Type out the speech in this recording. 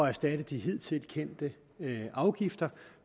erstatte de hidtil kendte afgifter